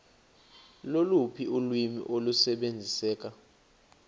loluphi ulwimi olusebenziseka